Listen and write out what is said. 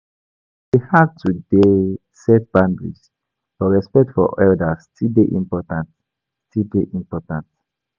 E dey hard to dey set boundaries, but respect for elders still dey important. still dey important.